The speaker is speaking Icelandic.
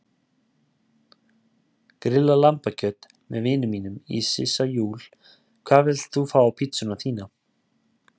Grillað lambakjöt með vinum mínum í Sissa Júl Hvað vilt þú fá á pizzuna þína?